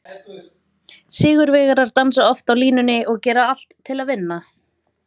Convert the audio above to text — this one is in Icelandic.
Sigurvegarar dansa oft á línunni og gera allt til að vinna.